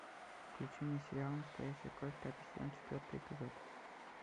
включи мне сериал настоящая кровь пятый сезон четвертый эпизод